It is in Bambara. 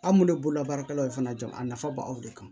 An minnu ye bololabaarakɛlaw ye fana jɔn a nafa b'aw de kan